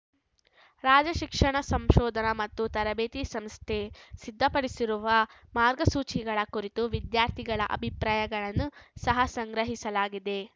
ರಾಜ್ಯ ಶಿಕ್ಷಣ ಸಂಶೋಧನಾ ಮತ್ತು ತರಬೇತಿ ಸಂಸ್ಥೆ ಸಿದ್ಧಪಡಿಸಿರುವ ಮಾರ್ಗಸೂಚಿಗಳ ಕುರಿತು ವಿದ್ಯಾರ್ಥಿಗಳ ಅಭಿಪ್ರಾಯಗಳನ್ನು ಸಹ ಸಂಗ್ರಹಿಸಲಾಗಿದೆ